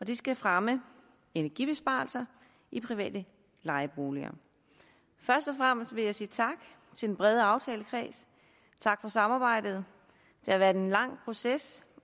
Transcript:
det skal fremme energibesparelser i private lejeboliger først og fremmest vil jeg sige tak til den brede aftalekreds tak for samarbejdet det har været en lang proces